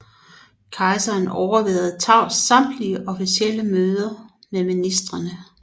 Kejseren overværede tavst samtlige officielle møder med ministrene